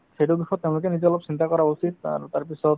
সেইটো দিশত তেওঁলোকে নিজে অলপ চিন্তা কৰা উচিত আৰু তাৰপিছত